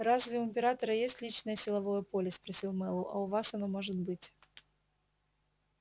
разве у императора есть личное силовое поле спросил мэллоу а у вас оно может быть